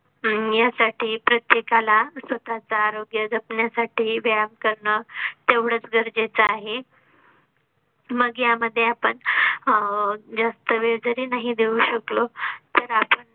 यासाठी प्रत्येका ला स्वतः चे आरोग्य जपण्यासाठी व्यायाम करणं तेवढंच गरजेचं आहे मग यामध्ये आपण अह जास्त वेळ जरी नाही देऊ शकलो तर आपण